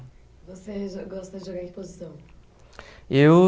Você gosta de jogar em posição? Eu